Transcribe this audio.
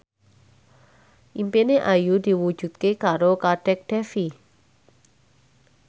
impine Ayu diwujudke karo Kadek Devi